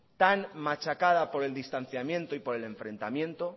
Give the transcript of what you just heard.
tan machacada por el distanciamiento y por el enfrentamiento